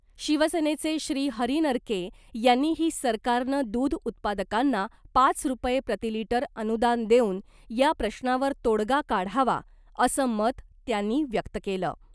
शिवसेनेचे श्री हरी नरके यांनीही सरकारनं दुध उत्पादकांना पाच रूपये प्रतिलिटर अनुदान देऊन या प्रश्नावर तोडगा काढावा असं मत त्यांनी व्यक्त केलं .